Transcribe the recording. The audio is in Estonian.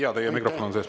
Jaa, teie mikrofon on sees.